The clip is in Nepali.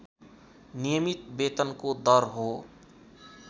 नियमित वेतनको दर हो